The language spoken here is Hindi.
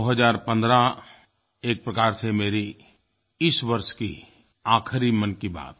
2015 एक प्रकार से मेरी इस वर्ष की आख़िरी मन की बात